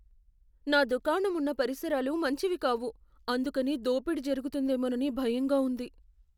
నా దుకాణం ఉన్న పరిసరాలు మంచివి కావు, అందుకని దోపిడీ జరుగుతుందేమోనని భయంగా ఉంది.